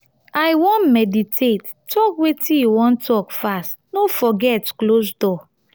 i wan meditate talk wetin you wan talk fast. no forget close door.